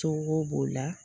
Cogo b'o la